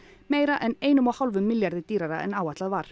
meira en einum og hálfum milljarði dýrara en áætlað var